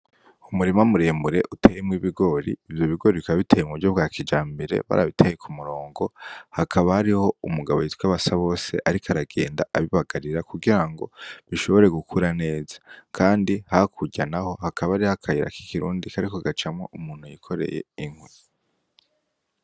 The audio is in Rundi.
Umurima muremure uteyemwo ibigori, ivyo bigori bikaba biteye mu buryo bwa kijambere bara biteye Ku murongo, hakaba hariho umugabo yitwa Basabose ariko aragenda abibagarira kugira ngo bishobore gukura neza, kandi hakurya naho hakaba hariyo akayira k'ikirundi kariko gacamwo umuntu yikoreye inkwi.